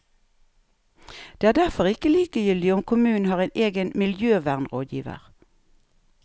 Det er derfor ikke likegyldig om kommunen har en egen miljøvernrådgiver.